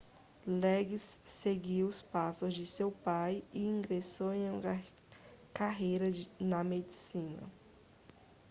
liggins seguiu os passos de seu pai e ingressou em uma carreira na medicina